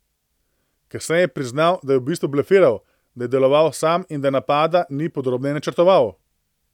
Kasneje je priznal, da je v bistvu blefiral, da je deloval sam in da napada ni podrobneje načrtoval.